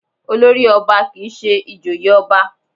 Olórì ọba kì í ṣe ìjòyè ọba